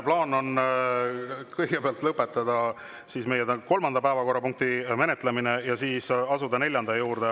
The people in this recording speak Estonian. Plaan on kõigepealt lõpetada meie kolmanda päevakorrapunkti menetlemine ja siis asuda neljanda juurde.